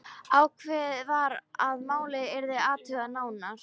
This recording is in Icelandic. Ákveðið var að málið yrði athugað nánar.